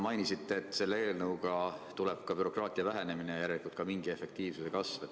Mainisite, et selle eelnõuga tuleb ka bürokraatia vähenemine, järelikult ka mingi efektiivsuse kasv.